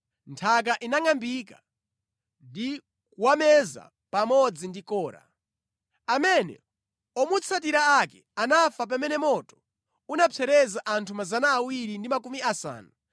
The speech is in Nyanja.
Nthaka inangʼambika ndi kuwameza pamodzi ndi Kora, kotero kuti gulu lawo linafa pamene moto unapsereza anthu 250 aja, nasanduka chenjezo.